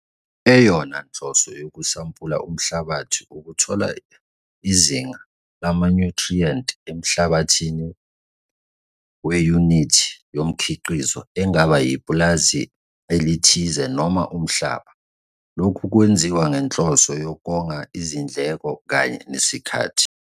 Eyona nhloso yokusampula umhlabathi ukuthola izinga lamanyuthriyenti emhlabathini weyunithi yomkhiqizo engaba yipulazi elithize noma umhlaba. Lokhu kwenziwa ngenhloso yokonga izindleko kanye nesikhathi.